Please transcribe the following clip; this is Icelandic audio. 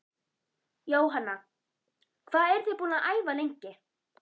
Jóhanna: Hvað eruð þið búin að æfa lengi?